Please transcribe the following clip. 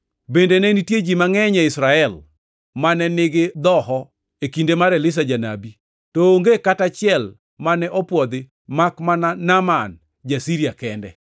Bende ne nitie ji mangʼeny e Israel mane nigi dhoho e kinde mar Elisha janabi to onge kata achiel mane opwodhi makmana Naaman ja-Siria kende.”